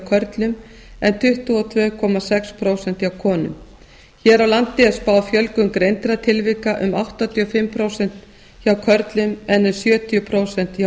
körlum en tuttugu og tvö komma sex prósent hjá konum hér á landi er spáð fjölgun greindra tilvika um áttatíu og fimm prósent hjá körlum en um sjötíu prósent hjá